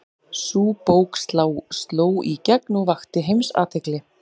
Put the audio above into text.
Sú bók sló í gegn og vakti heimsathygli.